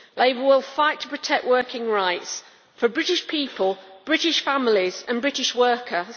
Labour will fight to protect working rights for British people, British families and British workers.